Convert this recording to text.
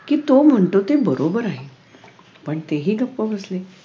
कि तो म्हणतो ते बरोबर आहे पण तेही गप्प बसले